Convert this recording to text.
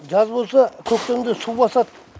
жаз болса көктемде су басады